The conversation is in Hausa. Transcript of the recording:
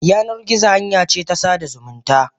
Yanar gizo hanyace ta sada zumunta.